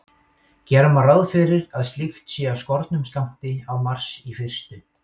Gera má ráð fyrir að slíkt sé af skornum skammti á Mars í fyrstu.